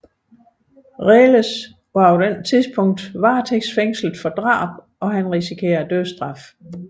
Reles var på det tidspunkt varetægtsfængslet for drab og risikerede dødsstraf